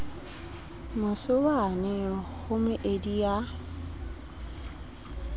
mose wane ho meedi ya